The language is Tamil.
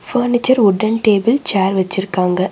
ஃபர்னிச்சர் வுட்டன் டேபிள் சேர் வச்சுருக்காங்க.